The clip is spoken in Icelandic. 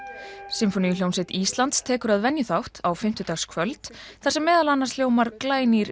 sinfóníuhljómsveit Íslands tekur að venju þátt á fimmtudagskvöld þar sem meðal annars hljómar glænýr